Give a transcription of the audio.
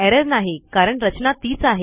error नाही कारण रचना तीच आहे